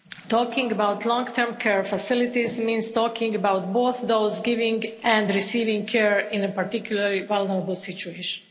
Talking about long-term care facilities means talking about both those giving and receiving care in a particularly vulnerable situation.